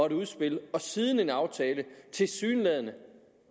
et udspil og siden hen en aftale tilsyneladende